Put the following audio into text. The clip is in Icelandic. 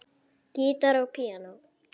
Gítar og píanó.